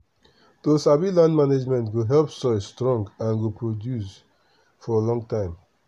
to sabi land management go help soil strong and go produce for long time